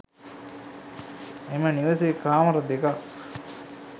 එම නිවසේ කාමර දෙකක්